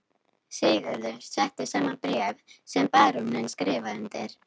Sigurður setti saman bréf sem baróninn skrifaði undir.